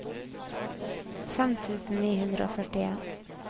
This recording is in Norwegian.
fem tusen ni hundre og førtien